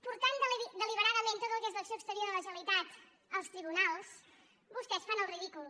portant deliberadament tot el que és l’acció exterior de la generalitat als tribunals vostès fan el ridícul